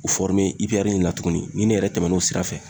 U fɔrime ipɛrɛri in na tuguni ni ne yɛrɛ tɛmɛn 'o sira fɛ